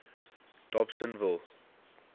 dobsenville